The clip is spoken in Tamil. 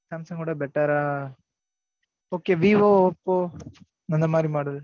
சாம்சங் கவிட better ஆ okay விவோ ஒபோ அந்த மாரி, model